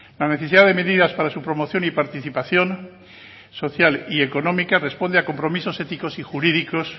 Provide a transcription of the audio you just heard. la necesidad de medidas para su promoción y participación social y económica responde a compromisos éticos y jurídicos